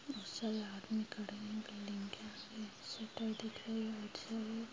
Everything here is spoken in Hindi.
बहुत सारे आदमी खड़े हैं बिल्डिंग के आगे शटर दिख रही राइट साइड